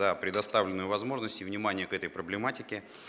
за предоставленную возможность и внимание к этой проблематике